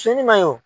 Cɛnnin man ɲi o